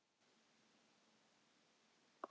Jæja Garðar, hvernig líturðu til baka á sumarið?